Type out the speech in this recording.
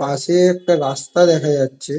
পাশে একটা রাস্তা দেখা যাচ্ছে।